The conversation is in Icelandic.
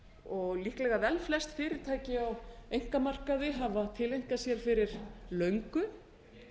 og líklega vel flest fyrirtæki á einkamarkaði hafa tileinkað sér fyrir löngu